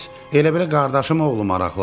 Heç elə bilə qardaşım oğlu maraqlanır.